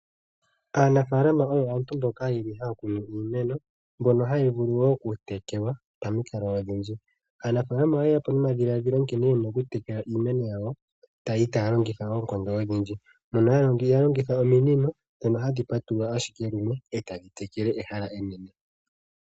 Aanafaalama oyo aantu mboka yeli haya kunu iimeno mbyono hayi vulu wo oku tekelwa pamikalo odhindji. Aanafaalama oyeya po nomadhilaadhilo nkene ye na okutekela iimeno yawo, yali taalongitha oonkondo odhindji, mono ya longitha ominino dhono hadhi patulula ashike lumwe etadhi tekele ehala enene.